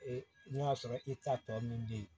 E n'a sɔrɔ i ta tɔ min bɛ ye